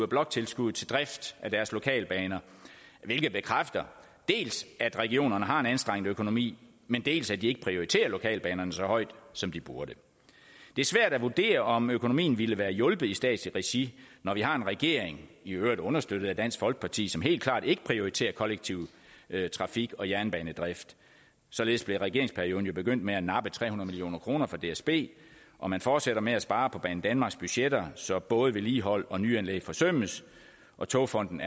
bloktilskud til drift af deres lokalbaner hvilket bekræfter dels at regionerne har en anstrengt økonomi dels at de ikke prioriterer lokalbanerne så højt som de burde det er svært at vurdere om økonomien ville være hjulpet i statslig regi når vi har en regering i øvrigt understøttet af dansk folkeparti som helt klart ikke prioriterer kollektiv trafik og jernbanedrift således blev regeringsperioden jo begyndt med at nappe tre hundrede million kroner fra dsb og man fortsætter med at spare på banedanmarks budgetter så både vedligehold og nyanlæg forsømmes og togfonden